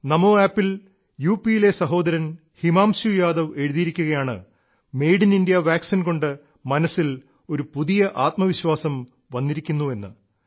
ചമാീ അുു ൽ യു പിയിലെ സഹോദരൻ ഹിമാംശുയാദവ് എഴുതിയിരിക്കുകയാണ് ങമറല ശി കിറശമ ഢമരരശില കൊണ്ട് മനസ്സിൽ ഒരു പുതിയ ആത്മവിശ്വാസം വന്നിരിക്കുന്നെന്ന്